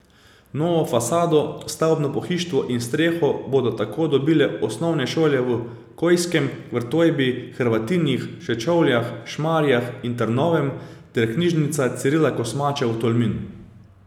Novo fasado, stavbno pohištvo in streho bodo tako dobile osnovne šole v Kojskem, Vrtojbi, Hrvatinih, Sečovljah, Šmarjah in Trnovem ter knjižnica Cirila Kosmača v Tolminu.